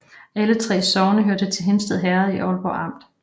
Alle 3 sogne hørte til Hindsted Herred i Ålborg Amt